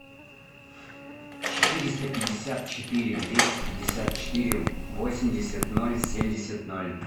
четыреста пятьдесят четыре двести пятьдесят четыре восемьдесят ноль семьдесят ноль